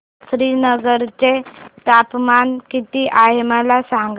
श्रीनगर चे तापमान किती आहे मला सांगा